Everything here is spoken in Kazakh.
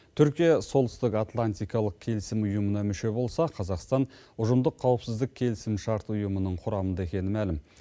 түркия солтүстік атлантикалық келісім ұйымына мүше болса қазақстан ұжымдық қауіпсіздік келісімшарт ұйымының құрамында екені мәлім